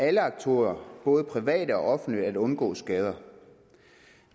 alle aktører både private og offentlige at undgå skader